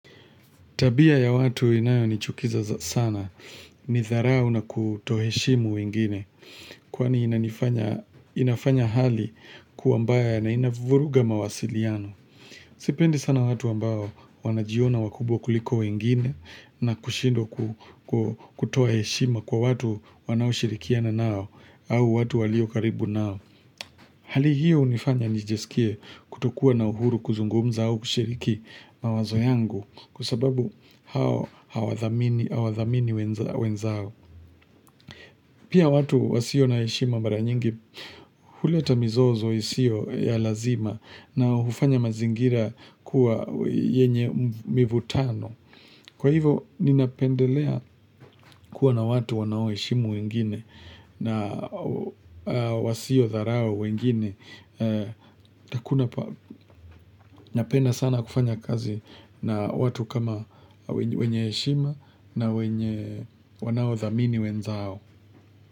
Tabia ya watu inayo nichukiza sana, ni tharau na kutoheshimu wengine, kwani inanifanya inafanya hali kuwa mbaya na inavuruga mawasiliano. Sipendi sana watu ambao wanajiona wakubwa kuliko wengine na kushindwa kutoa heshima kwa watu wanao shirikiana nao, au watu walio karibu nao. Hali hiyo hunifanya nijiskie kutokuwa na uhuru kuzungumza au kushiriki mawazo yangu, Kwa sababu hao hawadhamini wenzao Pia watu wasio na heshima mara nyingi huleta mizozo isio ya lazima na hufanya mazingira kuwa yenye mivutano Kwa hivyo ninapendelea kuwa na watu wanaoheshimu wengine na wasio tharau wengine na kuna napenda sana kufanya kazi na watu kama wenye heshima na wenye wanao thamini wenzao.